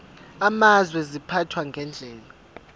amazwe ziphathwa ngendlela